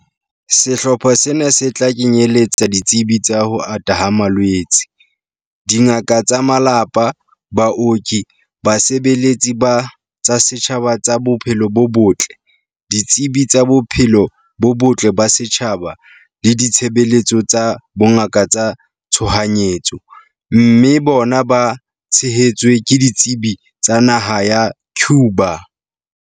Sehlopha sena se tla kenyeletsa ditsebi tsa ho ata ha malwetse, dingaka tsa malapa, baoki, basebeletsi ba tsa setjhaba ba tsa bophelo bo botle, ditsebi tsa bophelo bo botle ba setjhaba le ditshebeletso tsa bongaka tsa tshohanyetso, mme bona ba tshehetswe ke ditsebi tsa naha ya Cuba.